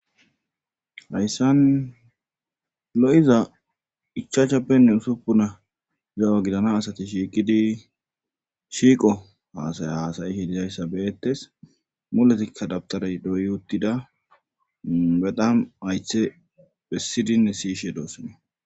hayssan lo7iza ichaachappenne usuppuna zawa gidana asati shiiqidi shiiqo haasaya haasayi hi dizayssa beettes muletikka dabtaray doyuttida bedam aythe bessidinne siyishe doosone